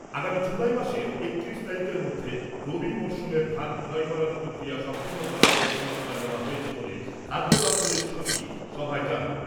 আগামী জুলাই মাসের একত্রিশ তারিখের মধ্যে রবি মরশুমের ধান ক্রয় করার প্রক্রিয়া সম্পন্ন করার লক্ষ্যমাত্রা নেওয়া হয়েছে বলে খাদ্য দপ্তরের সচিব সভায় জানান ।